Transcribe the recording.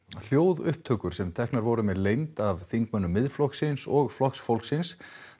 hljóðupptökur sem teknar voru með leynd af þingmönnum Miðflokksins og Flokks fólksins